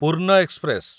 Purna express